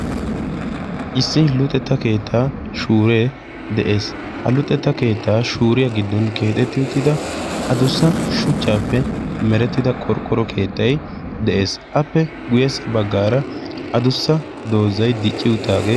Issi luxetta keettaa shuure de'ees. Ha luxetta keettaa shuuriya giddon keexetti uttida adussa shuchchaappe merettida qorqqoro keettay de'ees, appe guyyeessa baggaara adussa doozay dicci uttaagee...